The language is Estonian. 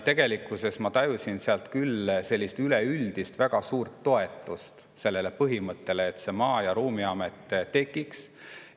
Tegelikult ma tajusin seal küll üleüldist väga suurt toetust sellele põhimõttele, et see Maa- ja Ruumiamet tekiks.